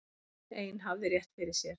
Hún ein hafði rétt fyrir sér.